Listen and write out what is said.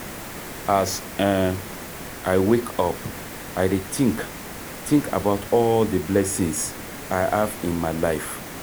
As um I wake up, I dey think think about all the blessings I have in my life.